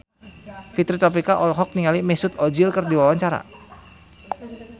Fitri Tropika olohok ningali Mesut Ozil keur diwawancara